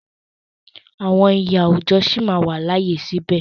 Àwọn iyì àwùjọ sí máa wà láàyè síbẹ̀.